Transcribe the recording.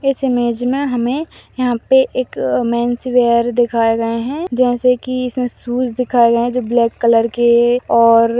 '' इस इमेज हमे यहां पे एक मेन्स वियर दिखाए गए है जैसे की इसमें शूज दिखये गए है जो ब्लैक कलर के और --''